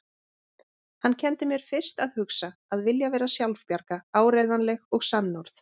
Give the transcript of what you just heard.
Hann kenndi mér fyrst að hugsa, að vilja vera sjálfbjarga, áreiðanleg og sannorð.